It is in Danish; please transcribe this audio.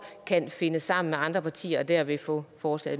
kan finde sammen med andre partier og derved få forslag